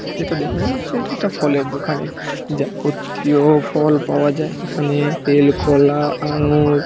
এটা দেখে মনে হচ্ছে একটা ফলের দোকানে জাব--তীয় ফল পাওয়া যায় এখানে--- তেল খোলা আঙ্গুর--